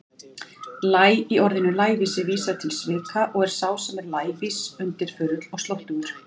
Læ- í orðinu lævísi vísar til svika og er sá sem er lævís undirförull, slóttugur.